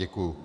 Děkuji.